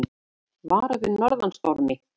Varað við norðan stormi